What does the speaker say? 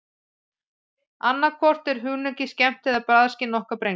Annað hvort er hunangið skemmt eða bragðskyn okkar brenglað.